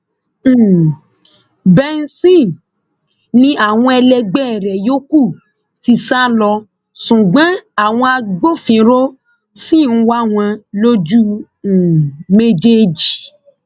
um benson ni àwọn ẹlẹgbẹ rẹ yòókù ti sá lọ ṣùgbọn àwọn agbófinró ṣì ń wá wọn lójú um méjèèjì